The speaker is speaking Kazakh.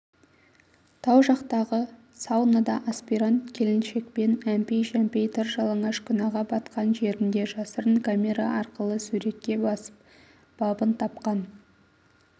тау жақтағы саунада аспирант келіншекпен әмпәй-жәмпәй тыр жалаңаш күнәға батқан жерінде жасырын камера арқылы суретке басып бабын тапқан